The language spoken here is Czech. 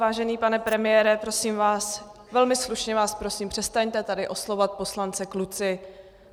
Vážený pane premiére, prosím vás, velmi slušně vás prosím, přestaňte tady oslovovat poslance "kluci".